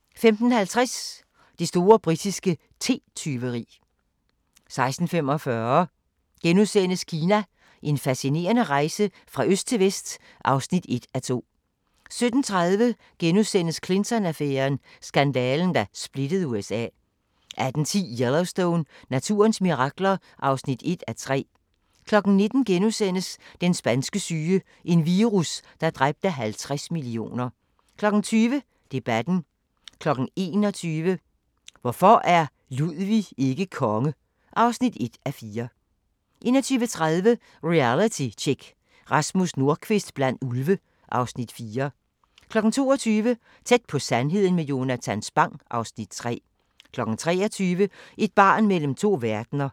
15:50: Det store britiske te-tyveri 16:45: Kina – En fascinerende rejse fra øst til vest (1:2)* 17:30: Clinton-affæren: Skandalen, der splittede USA * 18:10: Yellowstone – naturens mirakler (1:3) 19:00: Den spanske syge – en virus, der dræbte 50 millioner * 20:00: Debatten 21:00: Hvorfor er Ludwig ikke konge? (1:4) 21:30: Realitytjek: Rasmus Nordqvist blandt ulve (Afs. 4) 22:00: Tæt på sandheden med Jonatan Spang (Afs. 3) 23:00: Et barn mellem to verdener